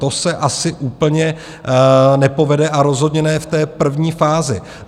To se asi úplně nepovede a rozhodně ne v té první fázi.